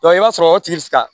i b'a sɔrɔ o tigi bi se ka